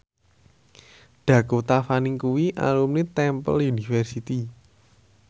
Dakota Fanning kuwi alumni Temple University